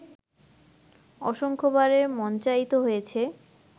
অসংখ্যবার মঞ্চায়িত হয়েছে